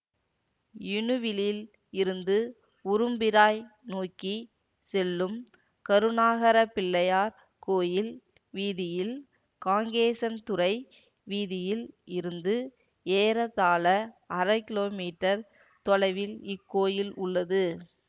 இணுவிலில் இருந்து உரும்பிராய் நோக்கி செல்லும் கருணாகரப் பிள்ளையார் கோயில் வீதியில் காங்கேசன்துறை வீதியில் இருந்து ஏறத்தாழ அரை கிலோமீட்டர் தொலைவில் இக்கோயில் உள்ளது